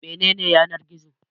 Mene ne Yanar-gizo?